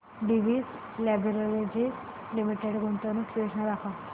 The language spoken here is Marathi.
डिवीस लॅबोरेटरीज लिमिटेड गुंतवणूक योजना दाखव